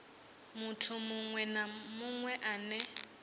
muthu muṅwe na muṅwe ane